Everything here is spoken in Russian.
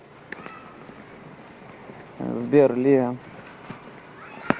сбер лиа